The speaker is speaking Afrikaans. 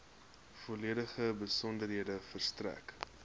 volledige besonderhede verstrek